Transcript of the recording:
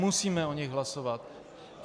Musíme o nich hlasovat.